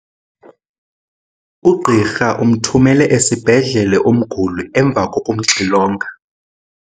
Ugqirha umthumele esibhedlele umguli emva kokumxilonga.